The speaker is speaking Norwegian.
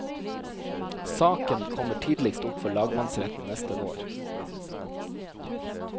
Saken kommer tidligst opp for lagmannsretten neste vår.